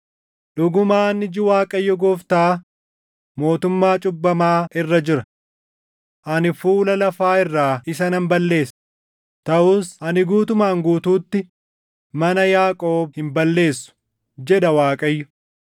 “Dhugumaan iji Waaqayyo Gooftaa mootummaa cubbamaa irra jira. Ani fuula lafaa irraa isa nan balleessa; taʼus ani guutumaan guutuutti mana Yaaqoob hin balleessu” jedha Waaqayyo.